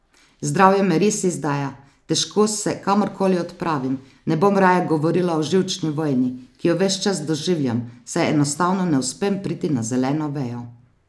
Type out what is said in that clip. Zdravje me res izdaja, težko se kamorkoli odpravim, ne bom raje govorila o živčni vojni, ki jo ves čas doživljam, saj enostavno ne uspem priti na zeleno vejo.